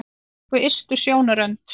Bak við ystu sjónarrönd